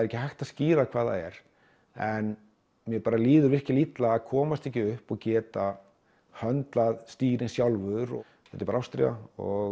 ekki hægt að skýra hvað það er en mér líður virkilega illa að komast ekki upp og geta höndlað stýrið sjálfur þetta er ástríða og